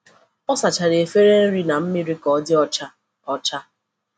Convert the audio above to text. O sachara efere nri na mmiri ka ọ dị ọcha. ọcha.